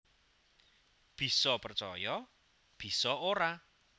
Bisa percaya bisa ora